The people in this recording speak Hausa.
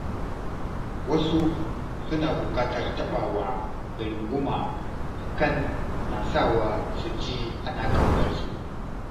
Wasu suna buƙatar taɓawa da runguma hakan na sawa su ji ana ƙaunar su